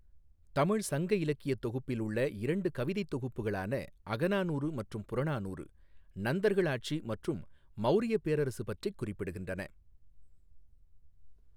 தமிழ் சங்க இலக்கியத் தொகுப்பில் உள்ள இரண்டு கவிதைத் தொகுப்புகளான அகநானூறு மற்றும் புறநானூறு நந்தர்கள் ஆட்சி மற்றும் மௌரியப் பேரரசு பற்றிக் குறிப்பிடுகின்றன.